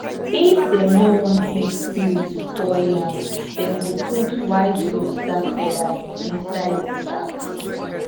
if dem no want make spirit spoil yam dem go put white rooster feathers inside the sacks